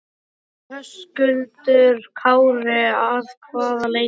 Höskuldur Kári: Að hvaða leyti?